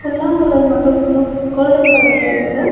புல்லாங்குழல் மட்டு blue golden கலர்ல இருக்கு.